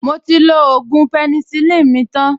Mo ti lo ògùn penicillin mi tan